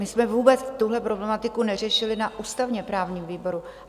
My jsme vůbec tuhle problematiku neřešili na ústavně-právním výboru.